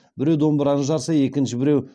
біреу домбыраны жарса екінші біреу